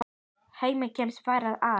Hemmi kemst varla að.